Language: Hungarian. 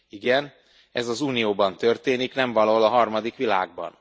Igen, ez az Unióban történik, nem valahol a harmadik világban.